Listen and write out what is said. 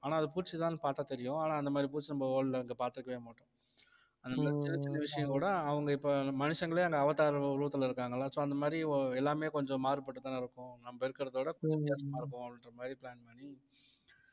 ஆனா அது பூச்சிதான்னு பார்த்தா தெரியும் ஆனா அந்த மாதிரி பூச்சி நம்ம world ல இங்க பார்த்துக்கவே மாட்டோம் அந்த மாதிரி சின்ன சின்ன விஷயம் கூட அவங்க இப்ப மனுஷங்களே அந்த அவதார் உருவத்துல இருக்காங்கல்ல so அந்த மாதிரி எல்லாமே கொஞ்சம் மாறுபட்டுதானே இருக்கும் நம்ம இருக்கிறதை விட கொஞ்சம் வித்தியாசமா இருப்போம் அப்படின்ற மாதிரி plan பண்ணி